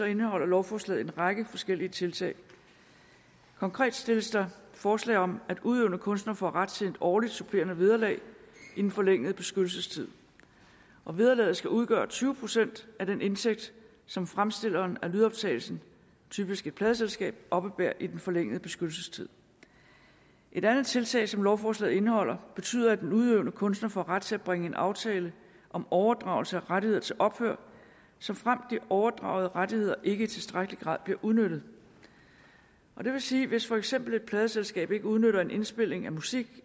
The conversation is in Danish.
indeholder lovforslaget en række forskellige tiltag konkret stilles der forslag om at udøvende kunstnere får ret til et årligt supplerende vederlag i den forlængede beskyttelsestid og vederlaget skal udgøre tyve procent af den indtægt som fremstilleren af lydoptagelsen typisk et pladeselskab oppebærer i den forlængede beskyttelsestid et andet tiltag som lovforslaget indeholder betyder at en udøvende kunstner får ret til at bringe en aftale om overdragelse af rettigheder til ophør såfremt de overdragede rettigheder ikke i tilstrækkelig grad bliver udnyttet det vil sige at hvis for eksempel et pladeselskab ikke udnytter en indspilning af musik